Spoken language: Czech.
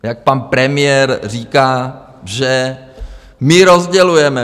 Jak pan premiér říká, že my rozdělujeme.